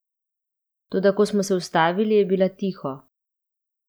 Toda ko smo se ustavili, je bila tiho.